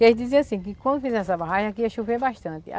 Eles dizia assim, que quando fizemos essa barragem aqui ia chover bastante.